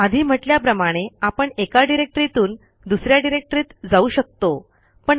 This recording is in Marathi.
आधी म्हटल्याप्रमाणे आपण एका डिरेक्टरीतून दुस या डिरेक्टरीत जाऊ शकतो